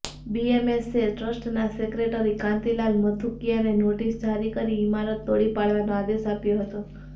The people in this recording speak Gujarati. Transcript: બીએમસીએ ટ્રસ્ટના સેક્રેટરી કાન્તિલાલ મથુકિયાને નોટિસ જારી કરી ઇમારત તોડી પાડવાનો આદેશ આપ્યો હતો